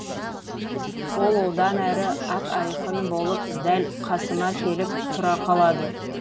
ол одан әрі ап айқын болып дәл қасыма келіп тұра қалады